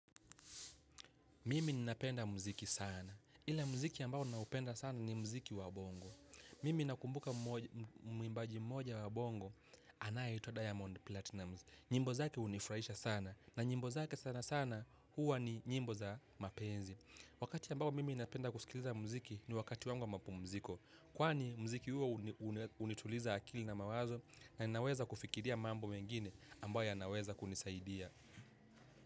Mimi ninapenda mziki sana. Ila mziki ambao naupenda sana ni mziki wa bongo. Mimi nakumbuka muimbaji mmoja wa bongo, anayeitwa Diamond Platinumz. Nyimbo zake unifuraisha sana. Na nyimbo zake sana sana huwa ni nyimbo za mapenzi. Wakati ambao mimi napenda kusikiliza mziki ni wakati wangu mapumziko. Kwani mziki huo unituliza akili na mawazo na naweza kufikiria mambo mengine ambayo yanaweza kunisaidia.